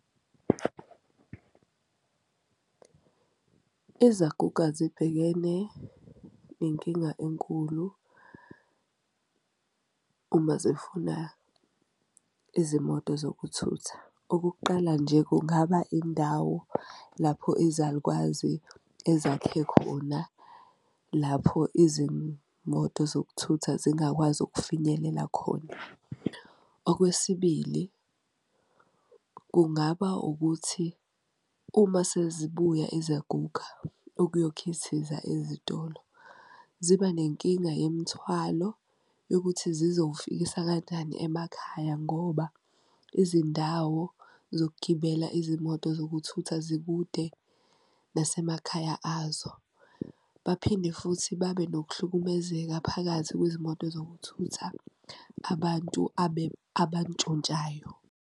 Izaguga zibhekene nenkinga enkulu uma zifuna izimoto zokuthutha. Okokuqala nje, kungaba indawo lapho izalukazi ezakhe khona lapho izimoto zokuthutha zingakwazi ukufinyelela khona. Okwesibili, kungaba ukuthi uma sezibuya izaguga ukuyokhithiza ezitolo, ziba nenkinga yemthwalo yokuthi zizowufikisa kanjani emakhaya ngoba izindawo zokugibela izimoto zokuthutha zikude nasemakhaya azo. Baphinde futhi babe nokuhlukumezeka phakathi kwezimoto zokuthutha abantu abantshontshayo.